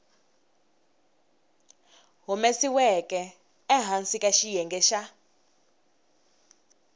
humesiweke ehansi ka xiyenge xa